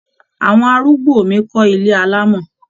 Àwọn arúgbó mi ko ilé alamo.